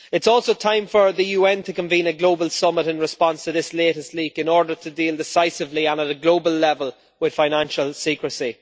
It is also time for the UN to convene a global summit in response to this latest leak in order to deal decisively and at a global level with financial secrecy.